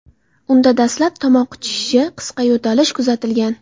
Unda dastlab tomoq qichishishi, qisqa yo‘talish kuzatilgan.